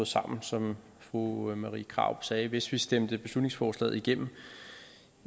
sammen som fru marie krarup sagde hvis vi stemte beslutningsforslaget igennem